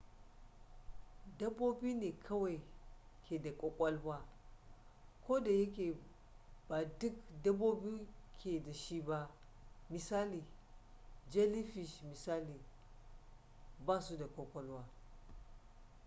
dabbobi ne kawai ke da kwakwalwa kodayake ba duk dabbobi ke da shi ba; misali jellyfish misali ba su da kwakwalwa